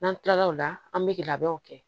N'an tilal'o la an bɛ labɛnw kɛ